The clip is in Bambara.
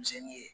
Misɛnnin ye